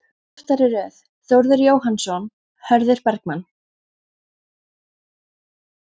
Aftari röð: Þórður Jóhannsson, Hörður Bergmann